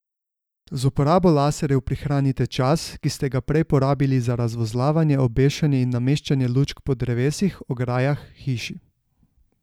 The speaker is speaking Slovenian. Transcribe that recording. Z uporabo laserjev prihranite čas, ki ste ga prej porabili za razvozlavanje, obešanje in nameščanje lučk po drevesih, ograjah, hiši...